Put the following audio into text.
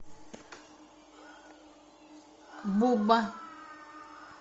буба